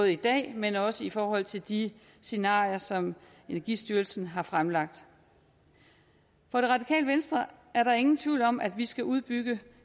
i dag men også i forhold til de scenarier som energistyrelsen har fremlagt for det radikale venstre er der ingen tvivl om at vi skal udbygge